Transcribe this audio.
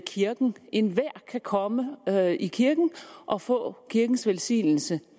kirken enhver kan komme i kirken og få kirkens velsignelse